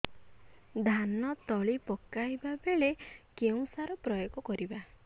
ଧାନ ତଳି ପକାଇବା ବେଳେ କେଉଁ ସାର ପ୍ରୟୋଗ କରିବା